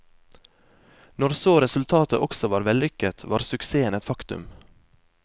Når så resultatet også var vellykket, var suksessen et faktum.